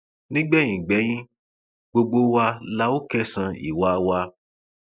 nígbẹyìngbẹyín gbogbo wa la óò kẹsàn ìwà wa